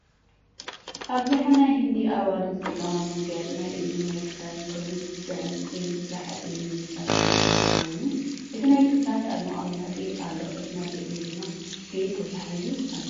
ኣብዝሓ ናይ ሂንዲ ኣዋልድ ዝጥቀማሉ መጋየፂ ናይ እዝኒን ናይ ክሳድን ኮይኑ ብዕንቂን ብሓፂንን ዝስራ መጋየፂ ኮይኑ እቲ ናይ ክሳድ ኣብ መቀመጢ ኣሎ እቲ ናይ እዝኒ ድማ ብኢድ ተታሒዙ ኣሎ።